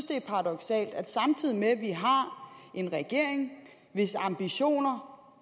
det er paradoksalt at samtidig med at vi har en regering hvis ambitioner